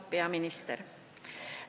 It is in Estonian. Hea peaminister!